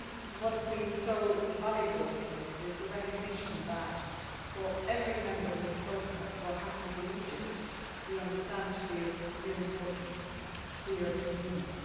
What has been so valuable in this is the recognition that, for every Member who has spoken, what happens in Egypt is understood to be of real importance to the European Union.